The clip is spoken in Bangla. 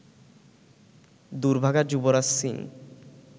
দুর্ভাগা যুবরাজ সিং